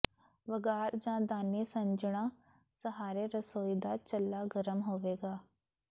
ਵਗਾਰ ਜਾਂ ਦਾਨੀ ਸੱਜਣਾਂ ਸਹਾਰੇ ਰਸੋਈ ਦਾ ਚੁੱਲ੍ਹਾ ਗਰਮ ਹੋਵੇਗਾ